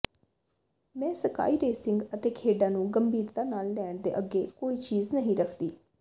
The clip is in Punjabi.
ਮੈਂ ਸਕਾਈ ਰੇਸਿੰਗ ਅਤੇ ਖੇਡਾਂ ਨੂੰ ਗੰਭੀਰਤਾ ਨਾਲ ਲੈਣ ਦੇ ਅੱਗੇ ਕੋਈ ਚੀਜ਼ ਨਹੀਂ ਰੱਖਦੀ